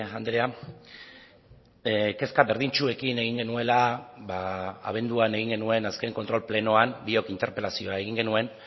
andrea kezka berdintsuekin egin genuela abenduan egin genuen azken kontrol plenoan biok interpelazioa egin genuen